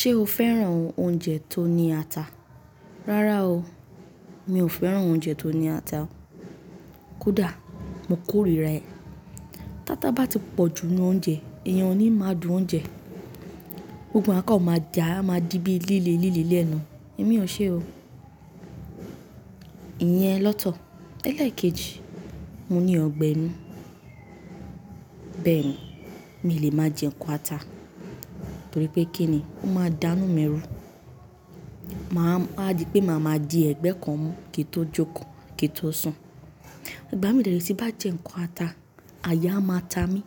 Ṣé o fẹ́ràn oúnjẹ tó ní ata? Rárá o, mi ò fẹ́ràn oúnjẹ tó ní ata. Kódà mo kórìí ra e. Táta bá ti pọ̀ jù nú oúnjẹ, èèyàn ò ní mọ adùn oúnjẹ. Gbogbo àkáń ma jà, a máa di bí líle líle lẹ́nu. Èmi ò ṣe o. Iyẹn lọ́tọ̀. Eléèkejì, mo ní ọgbẹ́ inú. Bẹ́ẹ̀ ni, mi lè máa jẹ nǹkan ata torípé kí ni? Ó máa dánú mi ru. Ma a di pé màá máa di ẹ̀gbẹ́ kan mú kí tò jókòó, kí tò sùn. Ìgbà mí dẹ̀rẹ̀ ti bá jẹ nǹkan ata, àya a máa ta mí.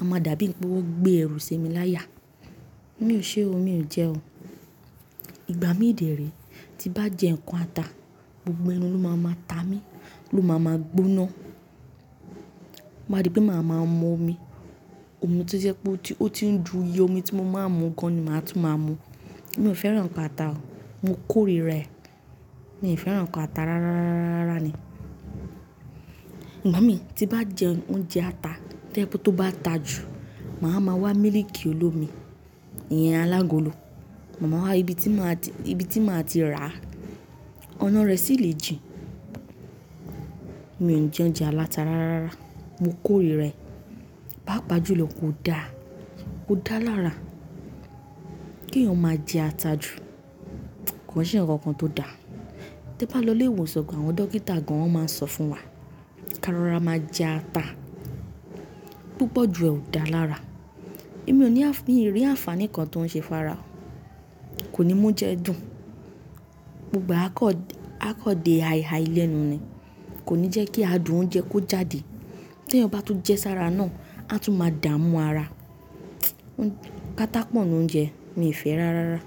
A máa dàbí pé wọ́n gbé ẹrù semilaya. Mi ò ṣe o, mi ò jẹ o. Ìgbà mí dẹ̀rẹ̀ ti bá jẹ nǹkan ata, gbogbo ẹnu ló máa máa ta mí, ló máa máa gbóná. Ma di pé màá máa mú omi, omi tí sẹ́ pé ó ti ń dù í, omi tí mo máa ń mu gan ni màá tún máa mu. Mi ò fẹ́ràn ata o. Mo kórìí rẹ̀. Mi ò fẹ́ràn nukan ata rárárárárára ni. Ìgbà mí tí bá jẹ oúnjẹ ata, tí ẹpo tó bá ta jù, màá máa wa mílíìkì olómi, iyan alágolo. Màá máa wá ibi tí màá ti, ibi tí màá ti rà. Ọ̀nà rẹ̀ sì lè jìn. Mi ò jẹ oúnjẹ aláta rárárára. Mo kórìí rẹ̀. Pá pà jú lọ kò dá. Kò dá lára. Kí èèyàn máa jẹ ata jù kò sì ní ǹkan kan tó dá. Tí ẹ bá lọ ilé ìwòsàn pọ̀, àwọn dókítà gan wọ́n máa ń sọ fún wa kí ara máa jẹ ata. Púpọ̀ jù ẹ ò dá lára. Èmi ò ní, mi ò rí àǹfàní kan tó ń ṣe fára o. Kò ní mú jẹ dùn. Gbogbo a kọ, a kọ de àyiàyílẹ́nu ni. Kò ní jẹ́ kí a dùn oúnjẹ kó jáde. Tí èèyàn bá tún jẹ sára náà, a tún máa dààmú ara. Kátápọ̀nù oúnjẹ mi fẹ́ rárára.